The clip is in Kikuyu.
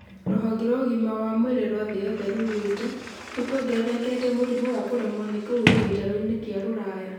rũhonge rwa ũgima wa mwĩrĩ rwa thĩ yothe rugĩte : nĩkuongererekete mũrimũ wa kũremwo nĩ kũhuhia gĩtarũini kĩa rũraya